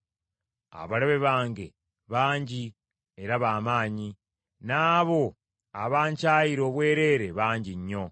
Abalabe bange bangi era ba maanyi; n’abo abankyayira obwereere bangi nnyo.